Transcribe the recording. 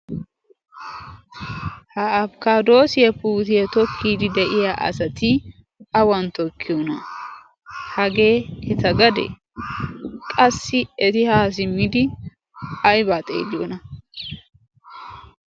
ha afkkadoosiya futiye tokkiid de'iya asati awan tokkiyoona hagee heta gade qassi eti haasimmidi aybaa xeeyoona